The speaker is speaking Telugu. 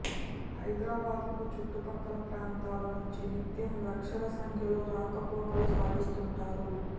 హైదరాబాద్కు చుట్టుపక్కల ప్రాంతాల నుంచి నిత్యం లక్షల సంఖ్యలో రాకపోకలు సాగిస్తుంటారు